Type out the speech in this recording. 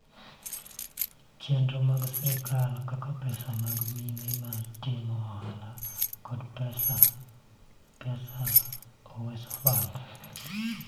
Chenro mag sirkal kaka pesa mag mine ma timo ohala kod pesa za Uwezo Fund.